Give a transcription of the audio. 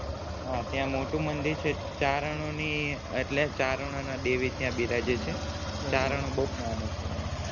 હા ત્યાં મોટું મંદિર છે ચારણો એટલે ચારણો દેવી ત્યાં બિરાજે છે ચરણો માં બૌ મને છે એમને